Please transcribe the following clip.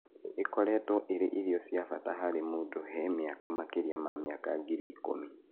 Ĩkoretwo ĩ ĩrio cia bata harĩ mũndũ he miaka makĩrĩa ma miaka ngiri ikũmi.